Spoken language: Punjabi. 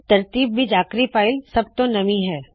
ਤਰਤੀਬ ਵਿੱਚ ਆਖਿਰੀ ਫ਼ਾਇਲ ਸੱਬ ਤੋ ਨਵੀਣ ਹੈ